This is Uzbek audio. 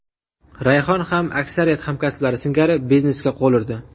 Rayhon ham aksariyat hamkasblari singari biznesga qo‘l urdi.